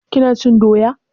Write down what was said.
Ki na cin doya?